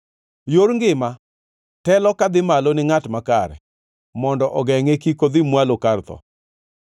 Yor ngima telo kadhi malo ni ngʼat makare, mondo ogengʼe kik odhi mwalo kar tho.